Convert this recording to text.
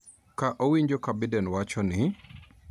Ka owinjo ka Biden wacho ni